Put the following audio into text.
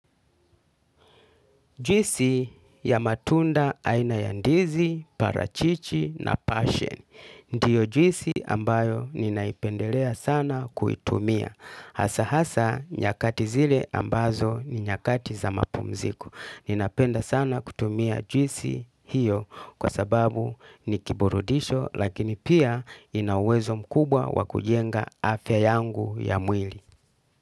Juisi ya matunda aina ya ndizi, parachichi na passion. Ndiyo juisi ambayo ninaipendelea sana kuitumia. Hasa hasa nyakati zile ambazo ni nyakati za mapumziku. Ninapenda sana kutumia juisi hiyo kwa sababu nikiburudisho lakini pia inauwezo mkubwa wa kujenga afya yangu ya mwili.